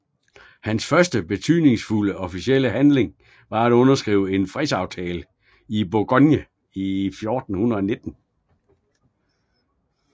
Hans første betydningsfulde officielle handling var at underskrive en fredsaftale med Bourgogne i 1419